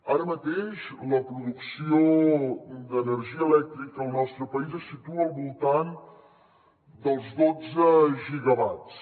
ara mateix la producció d’energia elèctrica al nostre país es situa al voltant dels dotze gigawatts